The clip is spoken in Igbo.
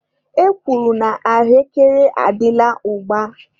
E kwuru na ahụekere adịla ugba.